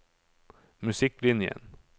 musikklinjen